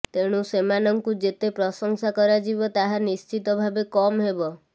ତେଣୁ ସେମାନଙ୍କୁ ଯେତେ ପ୍ରଶଂସା କରାଯିବ ତାହା ନିଶ୍ଚିତ ଭାବେ କମ୍ ହେବ